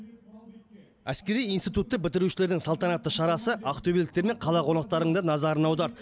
әскери институтты бітірушілердің салтанатты шарасы ақтөбеліктер мен қала қонақтарының да назарын аударды